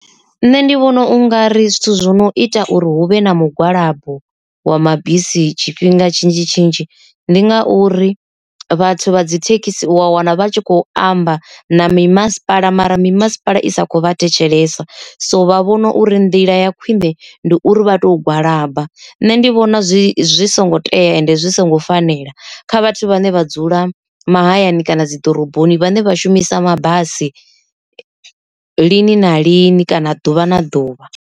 Nṋe ndi vhona u nga ri zwithu zwi no ita uri huvhe na mugwalabo wa mabisi tshifhinga tshinzhi tshinzhi ndi ngauri vhathu vha dzi thekhisi wa wana vha tshi khou amba na mimasipala mara mimasipala i sa kho vha thetshelesa, so vha vhona uri ndila ya khwine ndi uri vha to gwalaba, nṋe ndi vhona zwi songo tea ende zwi songo fanela kha vhathu vhane vha dzula mahayani kana dzi ḓoroboni vhane vha shumisa mabasi lini na lini kana ḓuvha na ḓuvha.